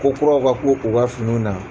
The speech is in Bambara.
Ko kuraw ka k'u u ka fini na.